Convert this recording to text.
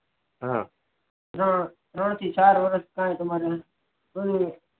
હા ત્રણ થી ચાર વરસ માં તમારે